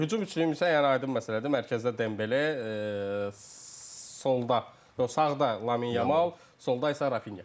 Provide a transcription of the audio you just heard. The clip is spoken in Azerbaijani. Hücum üçlüyüm isə yəni aydın məsələdir, mərkəzdə Dembele, sonda, yox sağda Lamine Yamal, solda isə Rafinha.